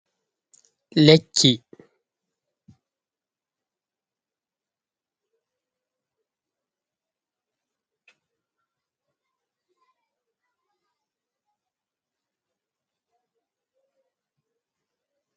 Lekki